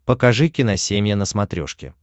покажи киносемья на смотрешке